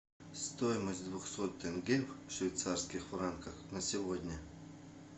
стоимость двухсот тенге в швейцарских франках на сегодня